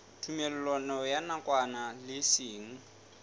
tumellano ya nakwana le seng